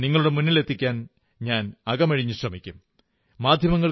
അവ നിങ്ങളുടെ മുന്നിലെത്തിക്കാൻ ഞാൻ അകമഴിഞ്ഞു ശ്രമിക്കും